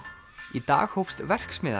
í dag hófst verksmiðjan